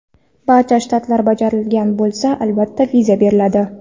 Barcha shartlar bajarilgan bo‘lsa, albatta, viza beriladi.